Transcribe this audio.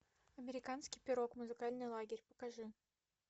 американский пирог музыкальный лагерь покажи